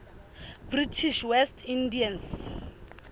british west indies